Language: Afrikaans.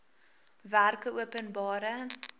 werkeopenbare